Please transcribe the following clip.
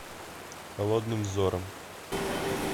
холодным взором